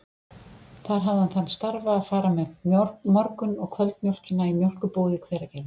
Þar hafði hann þann starfa að fara með morgun- og kvöldmjólkina í mjólkurbúið í Hveragerði.